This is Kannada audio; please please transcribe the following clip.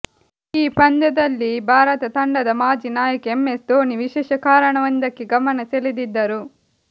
ಈ ಪಂದ್ಯದಲ್ಲಿ ಭಾರತ ತಂಡದ ಮಾಜಿ ನಾಯಕ ಎಂಎಸ್ ಧೋನಿ ವಿಶೇಷ ಕಾರಣವೊಂದಕ್ಕೆ ಗಮನ ಸೆಳೆದಿದ್ದರು